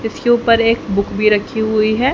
इसके ऊपर एक बुक भी रखी हुई है।